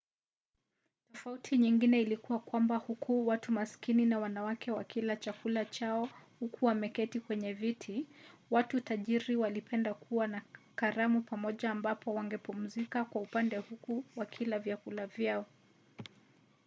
tofauti nyingine ilikuwa kwamba huku watu masikini na mwanamke wakila chakula chao huku wameketi kwenye viti watu tajiri walipenda kuwa na karamu pamoja ambapo wangepumzika kwa upande huku wakila vyakula vyao